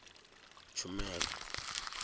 tshumelo